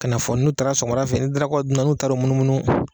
Ka na fɔ n'u taara sɔfɔmadafɛ ni darakaw dun na , n'u taara munumunu